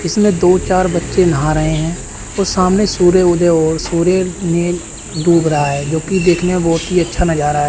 इसमें दो चार बच्चे नहा रहे हैं सामने सूर्य उदय सूर्य में डूब रहा है जो की देखने में बहोत ही अच्छा नजारा है।